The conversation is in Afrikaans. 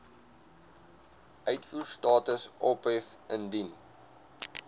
uitvoerstatus ophef indien